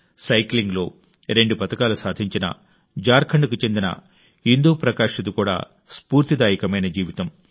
సైక్లింగ్లో రెండు పతకాలు సాధించిన జార్ఖండ్కు చెందిన ఇందు ప్రకాష్ది కూడా స్ఫూర్తిదాయకమైన జీవితం